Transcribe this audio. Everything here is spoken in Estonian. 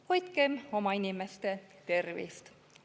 Hoidkem oma inimeste tervist!